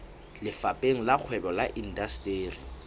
lefapheng la kgwebo le indasteri